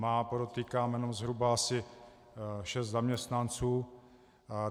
Má, podotýkám, jenom zhruba asi 6 zaměstnanců.